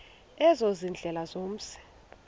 ezo ziindlela zomzi